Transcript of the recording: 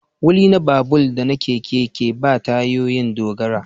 Wili na babur da na keke ke ba tayoyin dogara